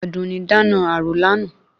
Àdùnní dáná àrò lánàá